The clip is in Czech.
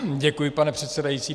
Děkuji, pane předsedající.